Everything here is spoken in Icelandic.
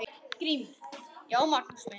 GRÍMUR: Já, Magnús minn!